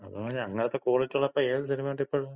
അതാണ് പറഞ്ഞെ. അങ്ങനത്ത ക്വാളിറ്റിയുള്ള ഇപ്പോ ഏത് സിനിമയുണ്ട് ഇപ്പഴ്‌.